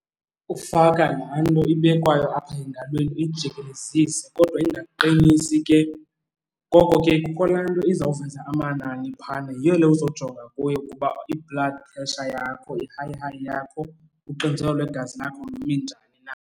Ukufaka laa nto ibekwayo apha engalweni uyijikelezise kodwa ingakuqinisi ke. Ngoko kukho laa nto izawuveza amanani phaana, yiyo le uzojonga kuyo ukuba i-blood pressure, i-high-high yakho, uxinzelelo lwegazi lakho limi njani na.